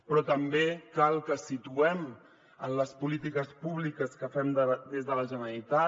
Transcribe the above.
però també cal que situem en les polítiques públiques que fem des de la generalitat